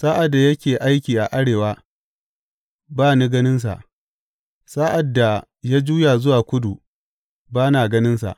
Sa’ad da yake aiki a arewa, ba ni ganinsa; sa’ad da ya juya zuwa kudu, ba na ganinsa.